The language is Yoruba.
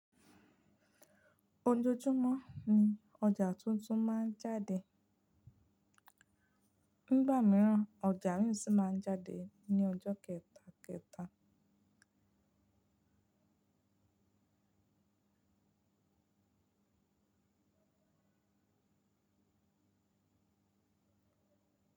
Ojoojúmọ́ ni ọjà tuntun máa ń jáde. Nígbà mìíràn, ọjà mìí sì máa ń jáde ní ọjọ́ kẹta, kẹta.